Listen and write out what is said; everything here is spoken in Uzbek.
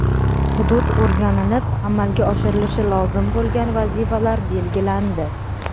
Hudud o‘rganilib, amalga oshirilishi lozim bo‘lgan vazifalar belgilandi.